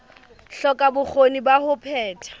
hloka bokgoni ba ho phetha